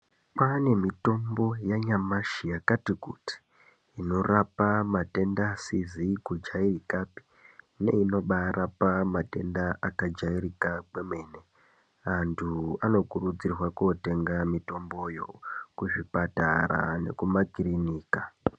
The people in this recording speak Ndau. Kwaane mitombo yanyamashi yakatikuti inorapa matenda asisi kujairika neinorapa matenda asisi kujairika neinobarapa matenda akajairika kwemene anhu anokurudzirwa kunotenga mitomboyo kuzvipatara nekumakirinika.